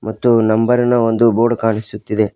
ಮತ್ತು ನಂಬರಿನ ಒಂದು ಬೋರ್ಡ್ ಕಾಣಿಸುತ್ತಿದೆ.